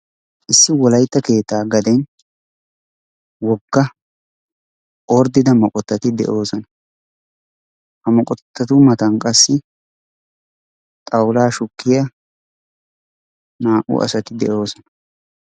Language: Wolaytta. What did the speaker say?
issi wolaytta keettaa gaden woga ordida moqotati de'oosona. ha moqotatu matan qassi xawulaa shukkiya naa'u asati de'oosona.